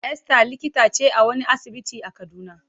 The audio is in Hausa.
Esther likita ce a wani asibiti a Kaduna.